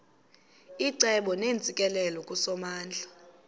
icebo neentsikelelo kusomandla